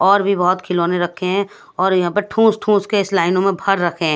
और भी बहुत खिलौने रखे हैं और यहां पे ठूस ठूस के इस लाइनों में भर रखें हैं।